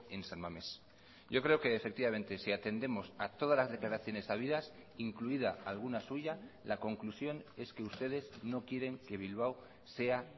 en san mamés yo creo que efectivamente si atendemos a todas las declaraciones habidas incluida alguna suya la conclusión es que ustedes no quieren que bilbao sea